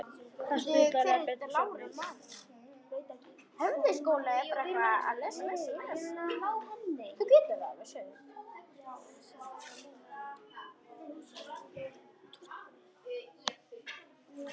Það stuðlar að betri svefni.